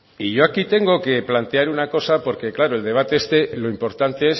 y yo aquí tengo que plantear una cosa porque claro el debate este lo importante